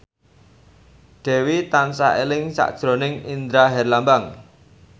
Dewi tansah eling sakjroning Indra Herlambang